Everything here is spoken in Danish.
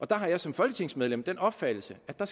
der har jeg som folketingsmedlem den opfattelse at der